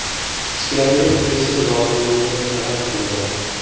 Ichkariga kirishi lozimligini talab qilgan.